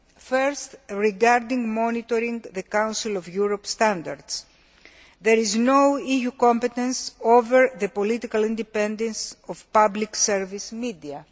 First, regarding monitoring the Council of Europe standards, there is no EU responsibility for the political independence of public service media.